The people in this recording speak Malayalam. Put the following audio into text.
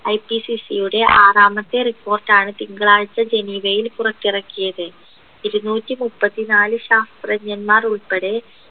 IPCC യുടെ ആറാമത്തെ report ആണ് തിങ്കളാഴ്ച്ച ജനീവയിൽ പുറത്തിറക്കിയത് ഇരുനൂറ്റി മുപ്പത്തി നാല് ശാസ്ത്രജ്ഞന്മാർ ഉൾപ്പെടെ